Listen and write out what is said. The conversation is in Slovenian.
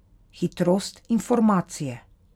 Hitrost informacije.